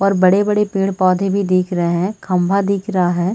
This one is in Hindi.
और बड़े-बड़े पेड़-पौधे भी दिख रहे है खंभा भी दिख रहा है।